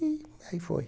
E aí foi.